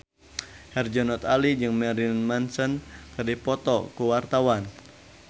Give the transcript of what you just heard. Herjunot Ali jeung Marilyn Manson keur dipoto ku wartawan